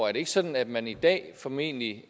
er det ikke sådan at man i dag formentlig